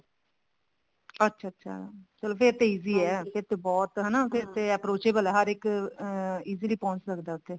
ਅੱਛਾ ਅੱਛਾ ਫ਼ੇਰ ਤਾਂ ਚਲੋ ਆ ਫ਼ੇਰ ਤੇ ਬਹੁਤ ਹਨਾ ਫ਼ੇਰ ਤੇ approachable ਹੈ ਹਰ ਇੱਕ easily ਪਹੁੰਚ ਸਕਦਾ ਉੱਥੇ